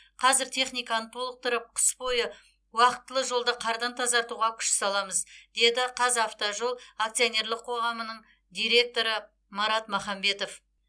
қазір техниканы толықтырып қыс бойы уақтылы жолды қардан тазартуға күш саламыз деді қазавтожол акционерлік қоғамының директоры марат махамбетов